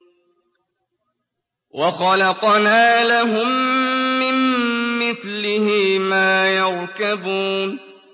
وَخَلَقْنَا لَهُم مِّن مِّثْلِهِ مَا يَرْكَبُونَ